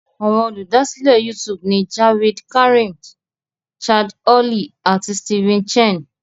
Àwọn Olùdásílẹ̀ YouTube ni Jawed Karim, Chad Hurley, àti Steven Chen.